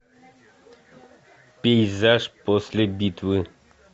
пейзаж после битвы